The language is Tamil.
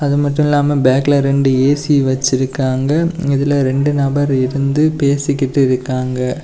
அது மட்டும் இல்லாம பக் ல ரெண்டு ஏ_சி வச்சிருக்காங்க இதுல ரெண்டு நபர் இருந்து பேசிகிட்டு இருக்காங்க.